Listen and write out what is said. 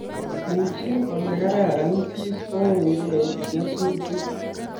Ujii olekararan siistoekei nyasutik